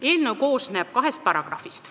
Eelnõu koosneb kahest paragrahvist.